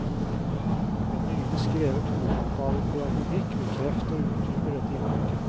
En nylig skrevet hovedoppgave i pedagogikk bekrefter og utdyper dette inntrykket.